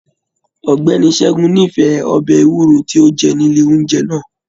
Ọgbẹni Ṣẹgun n'ifẹ ọbẹ ewúro ti o jẹ nile oúnjẹ náà.